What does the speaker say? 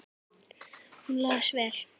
Hún las vel.